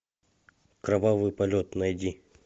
кровавый полет найди